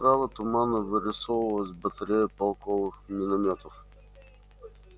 справа туманно вырисовывалась батарея полковых миномётов